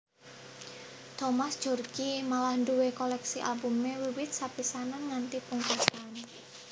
Thomas Djorghi malah nduwé kolèksi albumé wiwit sepisanan nganti pungkasan